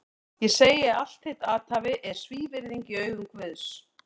Ég segi að allt þitt athæfi er svívirðing í augum Guðs!